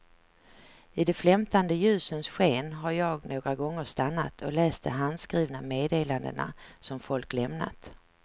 I de flämtande ljusens sken har jag några gånger stannat och läst de handskrivna meddelandena som folk lämnat.